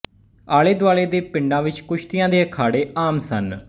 ਆਲੇ ਦੁਆਲੇ ਦੇ ਪਿੰਡਾਂ ਵਿੱਚ ਕੁਸ਼ਤੀਆਂ ਦੇ ਅਖਾੜੇ ਆਮ ਸਨ